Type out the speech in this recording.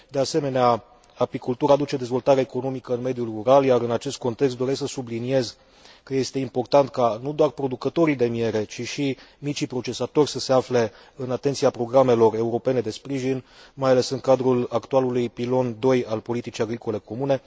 De asemenea, apicultura aduce dezvoltare economică în mediul rural, iar în acest context doresc să subliniez că este important nu doar producătorii de miere, ci și micii procesatori să se afle în atenția programelor europene de sprijin, mai ales în cadrul actualului pilon II al politicii agricole comune.